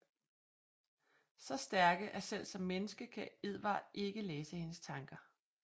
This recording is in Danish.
Så stærke at selv som menneske kan Edward ikke læse hendes tanker